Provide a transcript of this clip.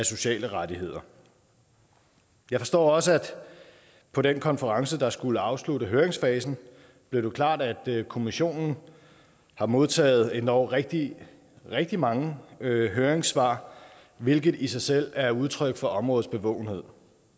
sociale rettigheder jeg forstår også at på den konference der skulle afslutte høringsfasen blev det klart at kommissionen har modtaget endog rigtig rigtig mange høringssvar hvilket i sig selv er udtryk for områdets bevågenhed